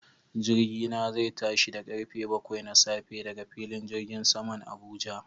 Jirgina zai tashi da karfe bakwai na safe daga filin jirgin saman Abuja